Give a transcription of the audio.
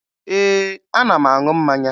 Ee, ana m aṅụ mmanya